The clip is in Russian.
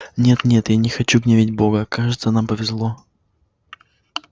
нет-нет я не хочу гневить бога кажется нам повезло